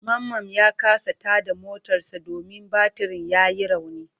Mamman ya kasa tada motarsa ​​domin batirin yayi rauni.